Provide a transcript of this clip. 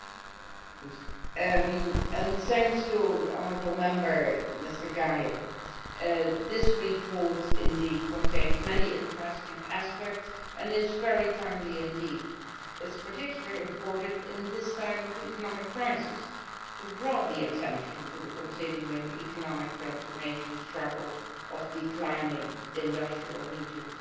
Mr President, thanks to the honourable Member, Mr Geier. This report does indeed contain many interesting aspects and is very timely indeed. It is particularly important at this time of economic crisis to draw attention to the continuing economic transformation struggle of declining industrial regions.